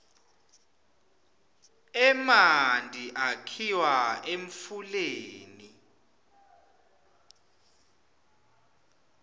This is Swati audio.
emanti akhiwa emfuleni